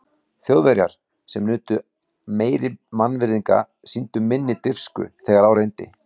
Þjóðverjar, sem nutu meiri mannvirðinga, sýndu minni dirfsku, þegar á reyndi.